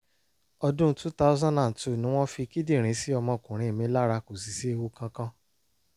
ọdún two thousand and two ni wọ́n fi kíndìnrín sí ọmọkùnrin mi lára kò sì sí ewu kankan